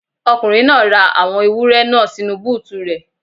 Ọkùnrin náà ra àwọn ewúrẹ́ náà sínu búùtù rẹ̀.